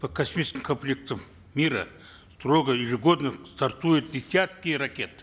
по космическим комплектам мира строго ежегодно стартуют десятки ракет